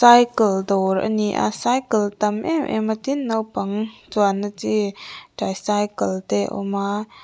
cycle dawr a ni a cycle tam em em a tin naupang chuan na chi tricycle te awm aaa.